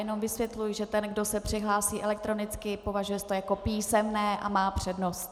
Jenom vysvětluji, že ten, kdo se přihlásí elektronicky, považuje se to jako písemné a má přednost.